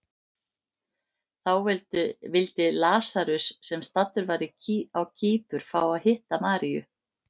Þá vildi Lasarus, sem staddur var á Kýpur, fá að hitta Maríu.